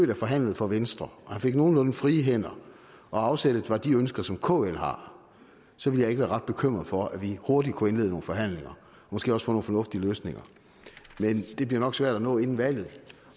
der forhandlede for venstre og at han fik nogenlunde frie hænder og at afsættet var de ønsker som kl har så ville jeg ikke være ret bekymret for at vi hurtigt kunne indlede nogle forhandlinger og måske også få nogle fornuftige løsninger men det bliver nok svært at nå inden valget